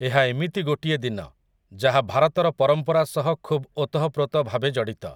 ଏହା ଏମିତି ଗୋଟିଏ ଦିନ, ଯାହା ଭାରତର ପରମ୍ପରା ସହ ଖୁବ୍ ଓତଃପ୍ରୋତ ଭାବେ ଜଡ଼ିତ ।